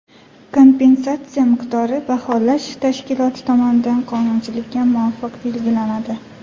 Kompensatsiya miqdori baholash tashkiloti tomonidan qonunchilikka muvofiq belgilanadi.